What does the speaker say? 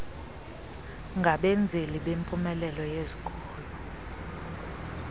ngabenzeli bempumelelo yezikolo